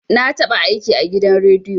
Na taɓa aiki a gidan rediyo